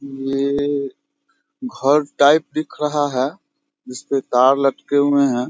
ये घर टाइप दिख रहा है जिसपे तार लटके हुए हैं।